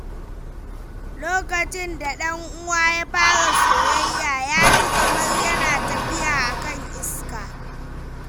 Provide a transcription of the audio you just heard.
Lokacin da dan uwana ya fara soyayya, ya ji kamar yana tafiya a kan iska.